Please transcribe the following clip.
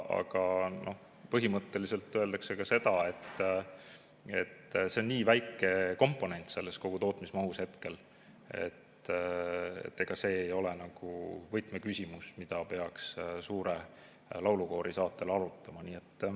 Aga põhimõtteliselt öeldakse ka seda, et see on nii väike komponent kogu selles tootmismahus, et see ei ole nagu võtmeküsimus, mida peaks suure laulukoori saatel arutama.